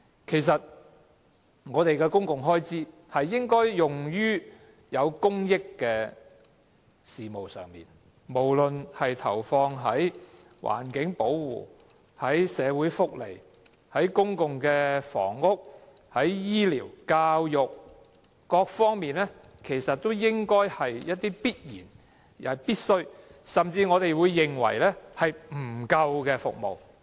其實我們的公共開支應該用於促進公益的事務上，無論是投放在環境保護、社會福利、公共房屋、醫療和教育，都是必然和必需的，甚至應該是用於我們認為不足的服務上。